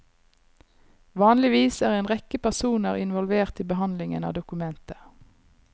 Vanligvis er en rekke personer involvert i behandlingen av dokumenter.